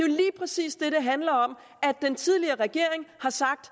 lige præcis det det handler om den tidligere regering har sagt